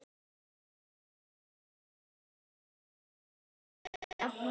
Gefið þessu sambandi ykkar meiri tíma, Edda.